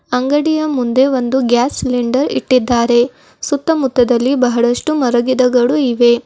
ಅಂಗಡಿಯ ಮುಂದೆ ಒಂದು ಗ್ಯಾಸ್ ಸಿಲಿಂಡರ್ ಇಟ್ಟಿದ್ದಾರೆ ಸುತ್ತಮುತ್ತದಲ್ಲಿ ಬಹಳಷ್ಟು ಮರಗಿದಗಳು ಇವೆ.